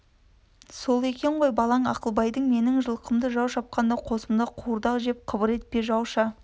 сол екен ғой балаң ақылбайдың менің жылқымды жау шапқанда қосымда қуырдақ жеп қыбыр етпей жауша